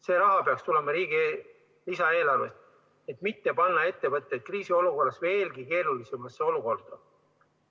See raha peaks tulema riigi lisaeelarvest, et mitte panna ettevõtteid kriisiolukorras veelgi keerulisemasse olukorda.